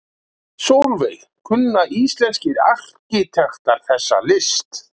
Sólveig: Kunna íslenskir arkitektar þessa list?